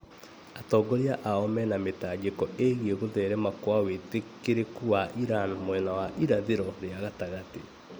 Atongoria ao mena mĩtangĩko ĩgiĩ gũtherema kwa wĩtĩkĩrĩku wa Iran mwena wa irathĩro rĩa gatagatĩ